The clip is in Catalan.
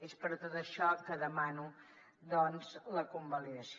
és per tot això que en demano doncs la convalidació